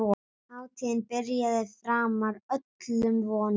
Hátíðin byrjaði framar öllum vonum.